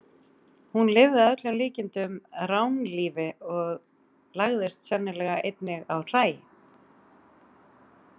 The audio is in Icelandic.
Hún lifði að öllum líkindum ránlífi og lagðist sennilega einnig á hræ.